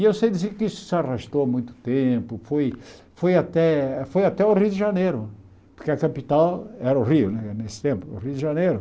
E eu sei dizer que isso se arrastou muito tempo, foi foi até foi até o Rio de Janeiro, porque a capital era o Rio, né nesse tempo, o Rio de Janeiro.